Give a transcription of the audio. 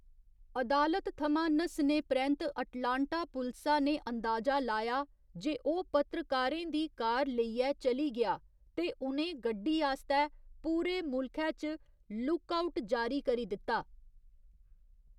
अदालत थमां नस्सने परैंत्त अटलांटा पुलसा ने अंदाजा लाया जे ओह् पत्रकारें दी कार लेइयै चली गेआ ते उ'नें गड्डी आस्तै पूरे मुल्खै च 'लुक आउट' जारी करी दित्ता।